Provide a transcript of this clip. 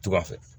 Tuga fɛ